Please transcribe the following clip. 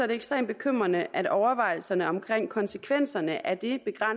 det ekstremt bekymrende at overvejelserne omkring konsekvenserne af det